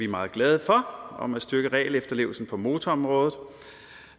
meget glade for om at styrke regelefterlevelsen på motorområdet